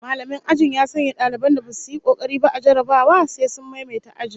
Mallamin ajin ya sanya daliban da basu yi kokari ba a jarrabawa sai sun maimaita ajin